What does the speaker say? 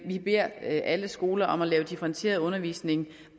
vi beder alle skoler om at lave differentieret undervisning